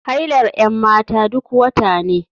Hailar 'yan mata duk wata ne.